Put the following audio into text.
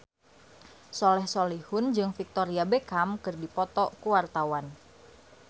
Soleh Solihun jeung Victoria Beckham keur dipoto ku wartawan